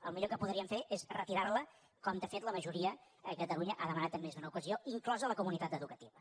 el millor que podrien fer és retirar la com de fet la majoria a catalunya ha demanat en més d’una ocasió inclosa la comunitat educativa